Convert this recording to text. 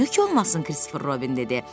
Niyə ki olmasın,” Kristofer Robin dedi.